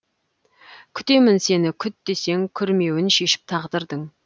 күтемін сені күт десең күрмеуін шешіп тағдырдың